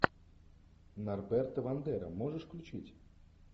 норберта вандера можешь включить